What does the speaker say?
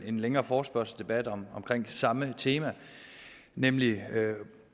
en længere forespørgselsdebat om det samme tema nemlig